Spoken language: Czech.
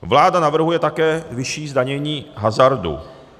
Vláda navrhuje také vyšší zdanění hazardu.